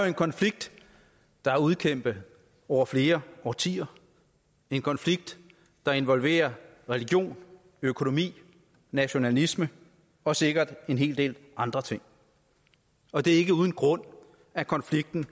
en konflikt der er udkæmpet over flere årtier en konflikt der involverer religion økonomi nationalisme og sikkert en hel del andre ting og det er ikke uden grund at konflikten